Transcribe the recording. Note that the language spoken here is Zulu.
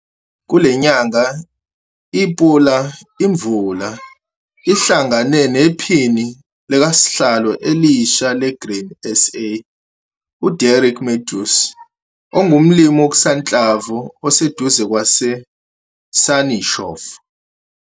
Kule nyanga iPula iMvula ihlangane nePhini likasihlalo elisha le-Grain SA, u-Derek Mathews ongumlimi wokusanhlamvu oseduze kwase-Sannieshofu.